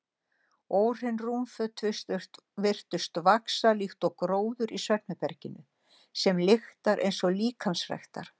Óhrein rúmföt virðast vaxa líkt og gróður í svefnherberginu sem lyktar eins og líkamsræktar